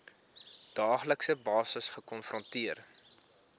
daaglikse basis gekonfronteer